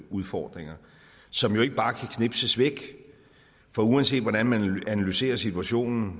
udfordringer som jo ikke bare kan knipses væk for uanset hvordan man analyserer situationen